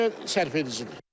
Belə sərfedicidir.